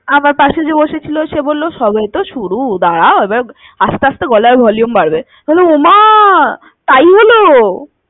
আমার কাছে যে বসে ছিল সে বললো সবেতো শুরু দাঁড়া এবার আস্তে~আস্তে গলার volume বাড়বে। ওমা তাই হলো।